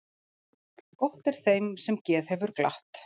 Gott er þeim sem geð hefur glatt.